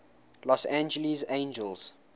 los angeles angels